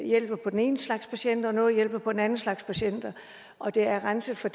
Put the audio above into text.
hjælper på den ene slags patienter og noget hjælper på den anden slags patienter og det er renset for